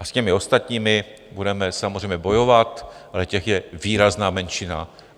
A s těmi ostatními budeme samozřejmě bojovat, ale těch je výrazná menšina.